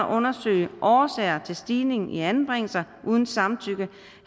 undersøge årsager til stigningen i anbringelser uden samtykke